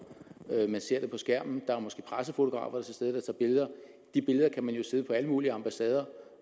man ser dem på skærmen der er måske pressefotografer til stede der tager billeder de billeder kan man sidde på alle mulige ambassader